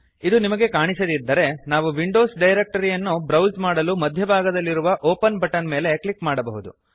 ಇದು ನಿಮಗೆ ಕಾಣಿಸದಿದ್ದರೆ ನಾವು ವಿಂಡೋಸ್ ಡೈರೆಕ್ಟರಿಯನ್ನು ಬ್ರೌಸ್ ಮಾಡಲು ಮಧ್ಯಭಾಗದಲ್ಲಿರುವ ಒಪೆನ್ ಬಟನ್ ಮೇಲೆ ಕ್ಲಿಕ್ ಮಾಡಬಹುದು